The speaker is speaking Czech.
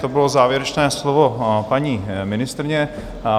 To bylo závěrečné slovo paní ministryně.